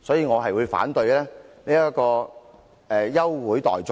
我反對這項休會待續議案。